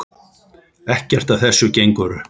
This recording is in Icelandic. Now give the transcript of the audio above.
Ekkert af þessu gengur upp.